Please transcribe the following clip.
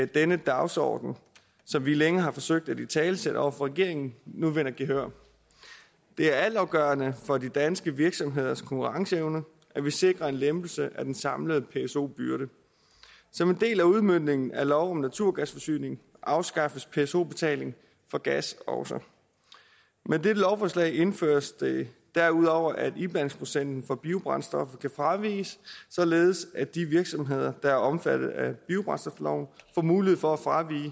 denne dagsorden som vi længe har forsøgt at italesætte over for regeringen nu vinder gehør det er altafgørende for de danske virksomheders konkurrenceevne at vi sikrer en lempelse af den samlede pso byrde som en del af udmøntningen af lov om naturgasforsyning afskaffes pso betaling for gas også med dette lovforslag indføres det derudover at iblandingsprocenten for biobrændstoffer kan fraviges således at de virksomheder der er omfattet af biobrændstofloven får mulighed for at fravige